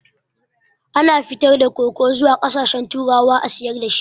Ana fitar da koko zuwa ƙasashen turawa a sayar dashi